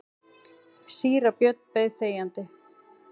Síra Björn beið þegjandi.